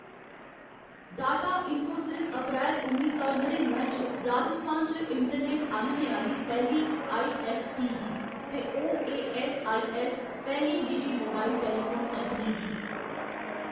Data Infosys अप्रैल उन्नी सौ नड़िनुए च राजस्थान च इंटरनेट आह्‌‌‌नने आह्‌ली पैह्‌ली आई.ऐस्स.पी. ही ते ओ.ए.ऐस्स.आई.ऐस्स. पैह्‌ली निजी मोबाइल टेलीफोन कंपनी ही।